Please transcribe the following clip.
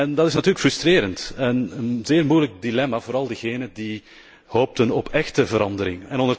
Dat is natuurlijk frustrerend en een zeer moeilijk dilemma voor al diegenen die hoopten op echte verandering.